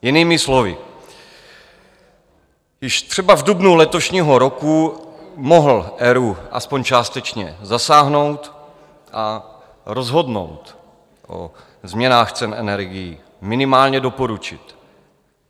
Jinými slovy, již třeba v dubnu letošního roku mohl ERÚ aspoň částečně zasáhnout a rozhodnout o změnách cen energií, minimálně doporučit.